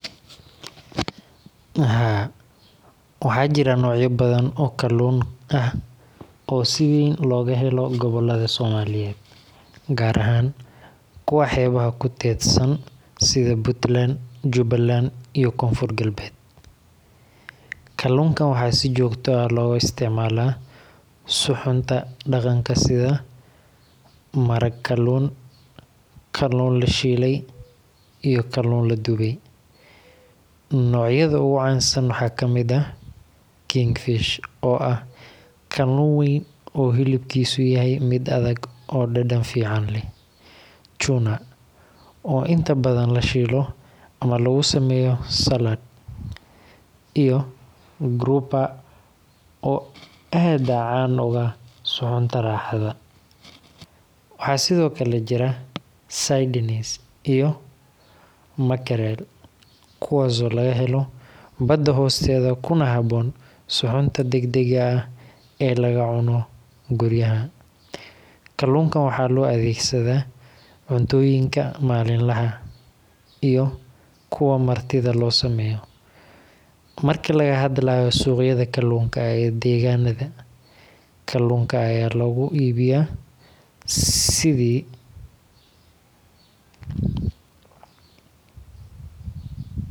Haa, waxaan maqlay barnaamijka caymiska ee IMF loogu yeero Bima Pima, waana barnaamij si gaar ah loogu talagalay dadka danyarta ah si ay u helaan caymis caafimaad oo jaban oo la awoodi karo. Barnaamijkan wuxuu ka hirgalay wadamo Afrikaan ah sida Kenya, waxaana loogu talagalay in qofku uu si tartiib tartiib ah ugu bixiyo lacag yar oo caymis ah iyadoo loo marayo mobile money, halkii uu hal mar ku bixin lahaa lacag dhan. Waxaa la aaminsan yahay in nidaamkan uu kor u qaaday helitaanka adeegyada caafimaadka ee dadka saboolka ah, gaar ahaan kuwa ku nool tuulooyinka iyo meelaha aan si fudud loogu heli karin daryeel caafimaad. Waxaan u maleynayaa in haddii barnaamijkan loo soo wareejiyo Soomaaliya, uu noqon karo mid wax weyn ka beddela nolosha dadka, gaar ahaan haweenka, caruurta, iyo dadka qaba xanuunnada daba dheeraada. Tani waa fursad lagu yareyn karo culayska.